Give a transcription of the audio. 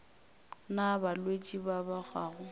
na balwetši ba ba gago